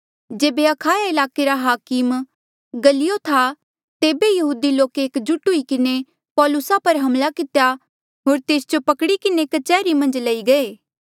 जेबे अखाया ईलाके रा हाकम गल्लियो था तेबे ई यहूदी लोके एक जुट हुई किन्हें पौलुसा पर हमला कितेया होर तेस जो पकड़ी किन्हें कच्हरी मन्झ लई गये